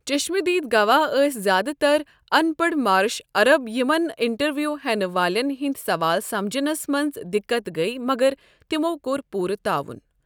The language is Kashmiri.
چشمہٕ دیٖد گواہ ٲسۍ زِیٛادٕ تَر اَنپَڑ مارش عرب یِمَن انٹرویو ہٮ۪نہٕ والٮ۪ن ہٕنٛد سوال سمجھنَس منٛز دِقت گٔیہِ مگر تِمو كوٚر پوُرٕ تعاون۔